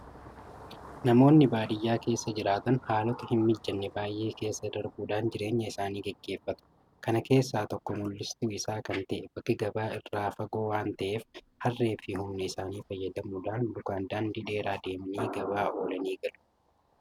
Namoonni baadiyyaa keessa jiraatan haalota hinmijanne baay'ee isaa keessa darbuudhaan jireenya isaanii gaggeeffatu. Kana keessaa tokko mul'istuu isaa kan ta'e bakki gabaa isaa irraa fagoo waanta ta'eef harreefi humna isaanii fayyadamuudhaan lukaan daandii dheeraa deemanii gabaa oolanii galu.